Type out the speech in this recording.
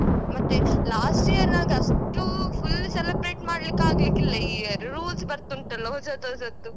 ಮತ್ತೆ last year ನಾಗೆ ಅಷ್ಟೂ full celebrate ಮಾಡ್ಲಿಕ್ ಆಗ್ಲಿಕ್ಕಿಲ್ಲ ಈ year rules ಬರ್ತುಂಟಲ್ಲ ಹೊಸತು ಹೊಸತು.